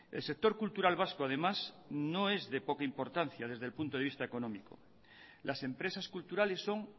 el sector cultural vasco además no es de poca importancia desde el punto de vista económico las empresas culturales son